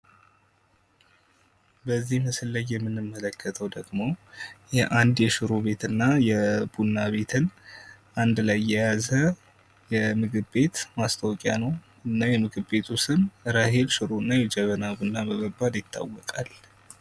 በዚህ ምስል ላይ የምንመለከተው ደግሞ የአንድ የሽሮ ቤትና የቡና ቤት አንድ ላይ የያዘ የምግብ ቤቶች ማስታወቂያ ነው። የምግብ ቤቱ ስም ራሔል ሽሮና የጀበና ቡና በመባሉ ይታወቃል።